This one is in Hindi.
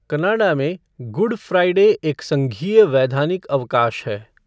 कनाडा में, गुड फ़्राइडे एक संघीय वैधानिक अवकाश है।